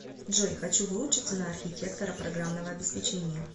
джой хочу выучиться на архитектора программного обеспечения